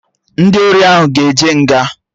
Ndị ori ahụ aga eje nga?